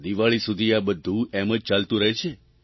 દિવાળી સુધી આ બધું એમ જ ચાલતું રહે છે